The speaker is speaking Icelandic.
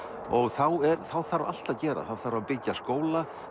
þá þá þarf allt að gera þá þarf að byggja skóla